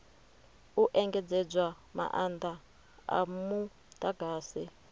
u engedzedzwa maanda a mudagasi